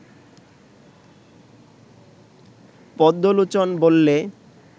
পদ্মলোচন বললে